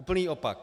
Úplný opak.